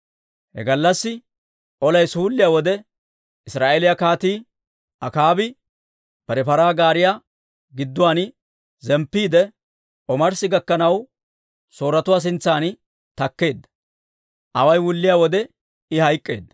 He gallassi olay suulliyaa wode, Israa'eeliyaa Kaatii Akaabi bare paraa gaariyaa giddon zemppiide, omarssi gakkanaw, Sooretuwaa sintsan takkeedda. Away wulliyaa wode, I hayk'k'eedda.